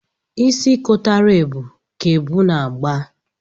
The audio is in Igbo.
Isi kotara ebu ka ebu na-agba.